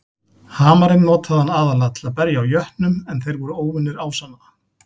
Hamarinn notaði hann aðallega til að berja á jötnum en þeir voru óvinir ásanna.